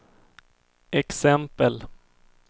exempel